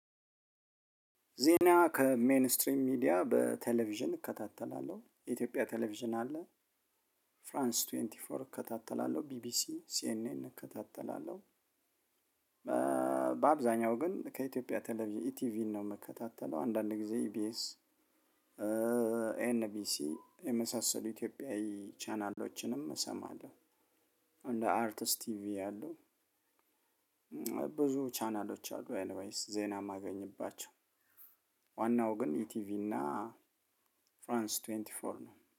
ዜና ከሜይን ስትሪም ሚዲያ በቴሌቪዥን እከታተላለሁ የኢትዮጵያ ቴሌቪዥን አለ ፍራንስ ቱዌይቲ ፎር እከታተላለሁ ቢቢሲ ሲኤንኤን እከታተላለሁ። በአብዛኛው ግን ከኢትዮጵያ ተለቬዢን ኢቲቪን ነው የምከታተለው። አንዳንድ ጊዜ ኢቢኤስ ኤንቢሲ የመሳሰሉ ኢትዮጵያዊ ቻናሎችንም እሰማለው። እንደ አርትስ ቲቪ ያሉ ብዙ ቻናሎች አሉ ኤኒ ዊይስይ ዜና እማገኝባቸው። ዋናው ግን ኢቲቪ እና ፍራንስ ቱዌንቱ ፎር ነው